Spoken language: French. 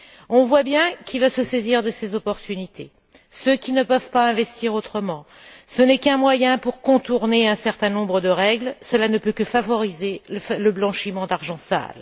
On voit bien qui va se saisir de ces opportunités ceux qui ne peuvent pas investir autrement. Ce n'est qu'un moyen pour contourner un certain nombre de règles, cela ne peut que favoriser le blanchiment d'argent sale.